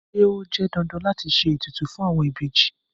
Ṣé ó jẹ́ dandan láti ṣe ètùtù fún àwọn ìbejì?